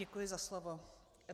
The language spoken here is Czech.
Děkuji za slovo.